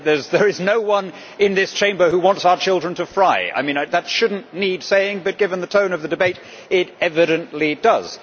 There is no one in this Chamber who wants our children to fry. That should not need saying but, given the tone of the debate, it evidently does.